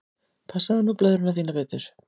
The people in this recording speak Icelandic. Passaðu nú blöðruna þína betur.